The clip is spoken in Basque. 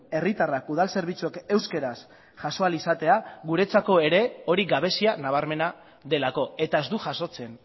herritarrak udal zerbitzuak euskaraz jaso ahal izatea guretzako ere hori gabezia nabarmena delako eta ez du jasotzen